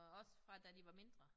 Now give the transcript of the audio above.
Og også fra da de var mindre